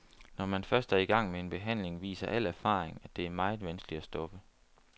Når man først er i gang med en behandling, viser al erfaring, at det er meget vanskeligt at stoppe.